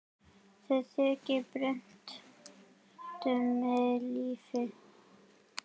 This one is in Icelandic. Þau kynni breyttu mínu lífi.